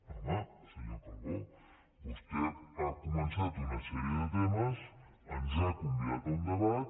home senyor calbó vostè ha començat una sèrie de temes ens ha convidat a un debat